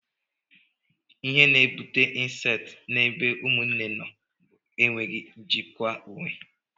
Ihe na-ebute incesti na ebe Ụmụnne nọ bụ enweghị njikwa onwe.